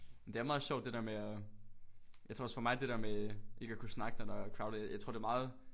Men det er meget sjovt det med at. Jeg tror også for mig det der med ikke at kunne snakke når der er crowdet jeg tror det er meget